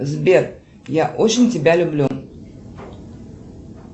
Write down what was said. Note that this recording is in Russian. сбер я очень тебя люблю